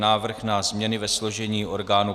Návrh na změny ve složení orgánů